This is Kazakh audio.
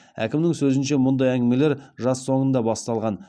әкімнің сөзінше мұндай әңгімелер жаз соңында басталған